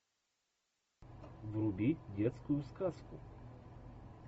вруби детскую сказку